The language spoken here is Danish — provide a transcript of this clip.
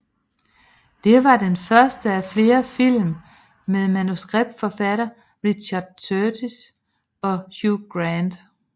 Det var den første af flere film med manuskriptforfatter Richard Curtis og Hugh Grant